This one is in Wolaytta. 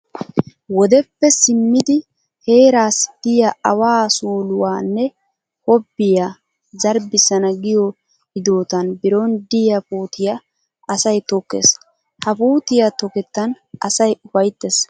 Wodeppe simmidi heeraassi de'iya awaa suuluwa nne hobbiya zarbbissana giyo hidootan biron diya puutiya asay tokkees. Ha puutiya tokettan asay ufayttees.